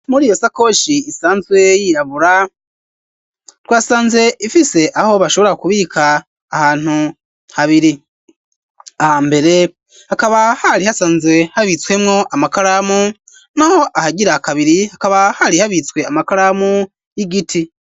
Muri iyo sakoshi isanzwe yirabura twasanze ifise aho bashobora kubika ahantu habiri aha mbere hakaba hari hasanzwe habitswemwo amakaramu n'aho ahagira akabiri hakaba hari habitswe amakaramu y'igiti.